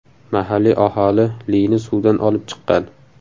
Mahalliy aholi Lini suvdan olib chiqqan.